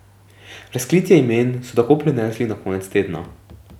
Razkritje imen so tako prenesli na konec tedna.